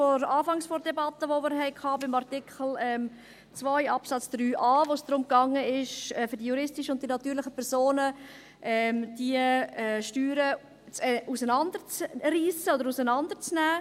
Am Anfang der Debatte, bei Artikel 2 Absatz 3a, ging es darum, für die juristischen und natürlichen Personen die Steuern auseinanderzureissen oder auseinanderzunehmen.